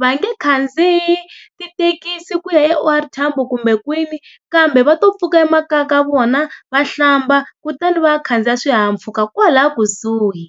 Va nge khandziyi tithekisi ku ya eO R Tambo kumbe kwini kambe va to pfuka emakaya ka vona va hlamba kutani va ya khandziya swihahampfhuka kwala kusuhi.